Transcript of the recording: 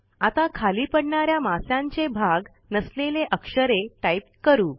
आता खाली पडणाऱ्या मास्यांचे भाग नसलेले अक्षरे टाईप करू